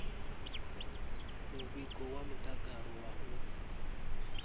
muvhigo wa mutakalo wa u